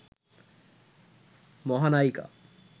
মহানায়িকা